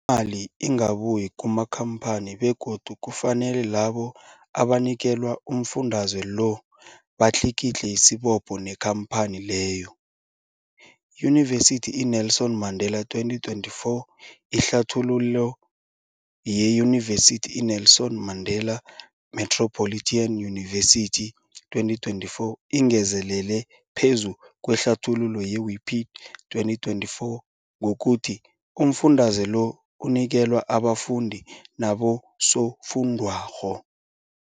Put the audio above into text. ali ingabuyi kumakhamphani begodu kufanele labo abanikelwa umfundaze lo batlikitliki isibopho neenkhamphani leyo, Yunivesity i-Nelson Mandela 2024. Ihlathululo yeYunivesithi i-Nelson Mandela Metropolitan University, 2024, ingezelele phezu kwehlathululo ye-Wiki 2024, ngokuthi umfundaze lo unikelwa abafundi nabosofundwakgho.